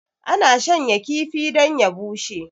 ana shanya kifi don ya bushe